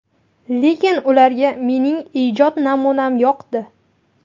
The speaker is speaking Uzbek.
Lekin ularga mening ijod namunam yoqdi.